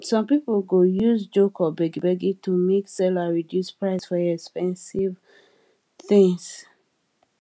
some people go use joke or begbeg to make seller reduce price for expensive things